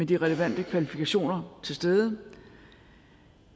de relevante kvalifikationer til stede